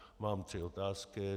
Mám tři otázky.